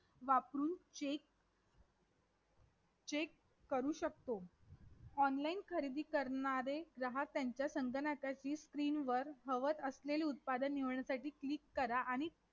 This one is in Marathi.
तर या ह या धर्मात किंवा या जातीजातीत आजच्या घडीला आपण संघर्ष पाहू शकतो ते संघर्ष पहा पायाच भेटणार नाही.